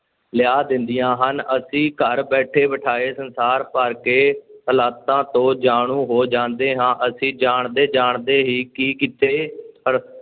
ਲਿਆ ਦਿੰਦੀਆਂ ਹਨ, ਅਸੀਂ ਘਰ ਬੈਠੇ ਬਿਠਾਏ ਸੰਸਾਰ ਭਰ ਦੇ ਹਾਲਾਤਾਂ ਤੋਂ ਜਾਣੂ ਹੋ ਜਾਂਦੇ ਹਾਂ, ਅਸੀਂ ਜਾਣਦੇ ਜਾਣਦੇ ਹੀ ਕਿ ਕਿੱਥੇ